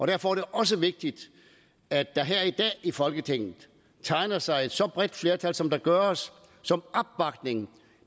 derfor er det også vigtigt at der her i dag i folketinget tegner sig et så bredt flertal som der gør som opbakning